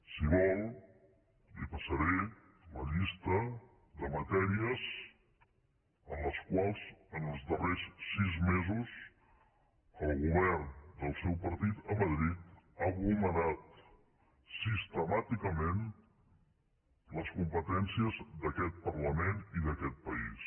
si vol li passaré la llista de matèries en les quals en els darrers sis mesos el govern del seu partit a madrid ha vulnerat sistemàticament les competències d’aquest parlament i d’aquest país